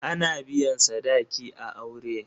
Ana biyan sadaki a aure.